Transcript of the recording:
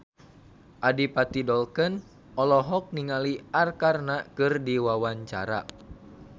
Adipati Dolken olohok ningali Arkarna keur diwawancara